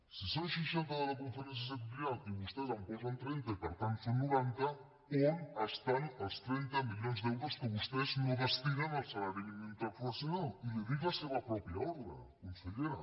si són seixanta de la conferència sectorial i vostès en posen trenta i per tant en són noranta on estan els trenta milions d’euros que vostès no destinen al salari mínim interprofessional i li dic la seva pròpia ordre consellera